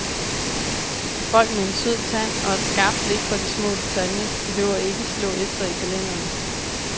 Folk med en sød tand og et skarpt blik for de små detaljer behøver ikke slå efter i kalenderen.